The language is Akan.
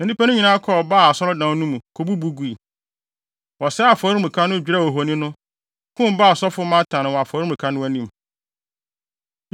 Na nnipa no nyinaa kɔɔ Baal asɔredan no mu, kobubu gui. Wɔsɛee afɔremuka no, dwerɛw ohoni no, kum Baal sɔfo Matan wɔ afɔremuka no anim.